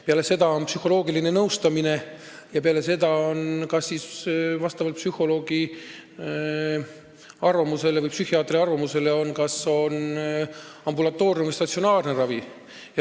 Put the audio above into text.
Peale seda on psühholoogiline nõustamine ja siis vastavalt psühholoogi või psühhiaatri arvamusele kas ambulatoorne või statsionaarne ravi.